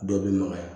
Dɔ bɛ magaya